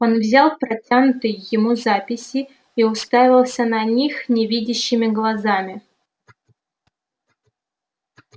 он взял протянутые ему записи и уставился на них невидящими глазами